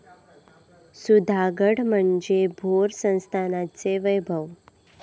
सुधागड म्हणजे भोर संस्थानाचे वैभव.